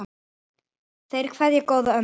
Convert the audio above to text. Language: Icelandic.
Þeir kveðja góða ömmu.